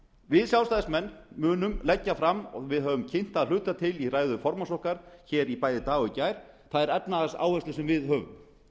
við sjálfstæðismenn munum leggja fram og við höfum kynnt að hluta til í ræðu formanns okkar bæði í dag og í gær og þær efnahagsáherslur sem við höfum